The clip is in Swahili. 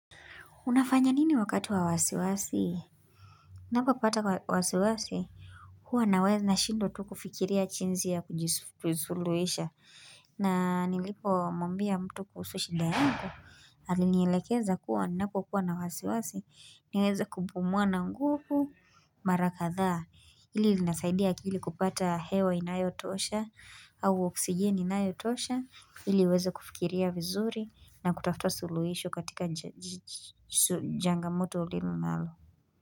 Unafanya nini wakati wa wasiwasi? Ninapopata wasiwasi Huwa nashindwa tu kufikiria jinsi ya kuisuluhisha. Na nilipo mwambia mtu kuhusu shida yangu. Alinielekeza kuwa ninapokuwa na wasiwasi. Niweze kupumua na nguvu mara kadhaa. Hili linasaidia akili kupata hewa inayotosha. Au oksijeni inayotosha. Ili iweze kufikiria vizuri. Na kutafuta suluhisho katika changamoto ulimo nalo.